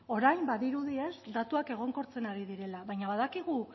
orain badirudi datuak egonkortzen ari direla baina badakigu